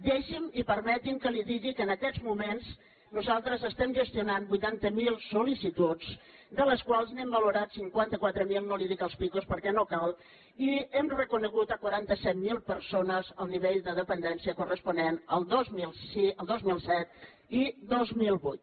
deixi’m i permeti’m que li digui que en aquests moments nosaltres estem gestionant vuitanta mil sollicituds de les quals n’hem valorat cinquanta quatre mil no li dic els picos perquè no cal i hem reconegut a quaranta set mil persones el nivell de dependència corresponent al dos mil set i dos mil vuit